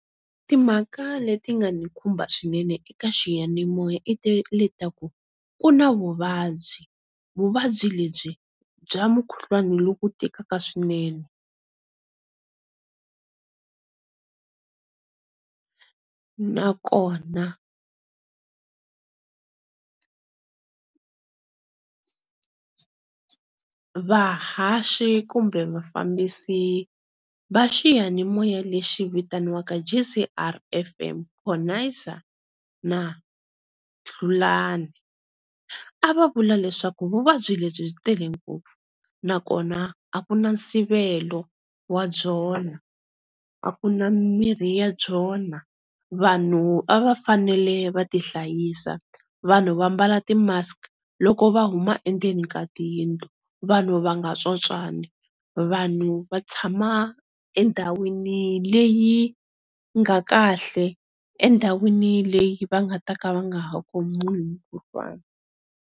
Timhaka leti nga ni khumba swinene eka xiyanimoya le ta ku ku na vuvabyi, vuvabyi lebyi bya mukhuhlwana loku tikaka swinene nakona vahaxi kumbe vafambisi va xiyanimoya lexi vitaniwaka J_C_R F_M na Hlulani a va vula leswaku vuvabyi lebyi byi tele ngopfu nakona a ku na nsivelo wa byona a ku na mirhi ya byona vanhu a va fanele va ti hlayisa vanhu vambala ti mask loko va huma endzeni ka tiyindlu, vanhu va nga tsontswani, vanhu va tshama endhawini leyi nga kahle, endhawini leyi va nga ta ka va nga ha khomiwi hi mukhuhlwana.